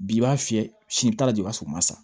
Bi b'a fiyɛ sini taa de i b'a sɔrɔ o ma sɔn